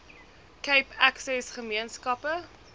cape access gemeenskappe